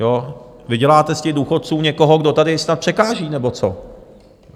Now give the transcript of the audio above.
Vy děláte z těch důchodců někoho, kdo tady snad překáží nebo co.